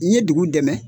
N ye dugu dɛmɛ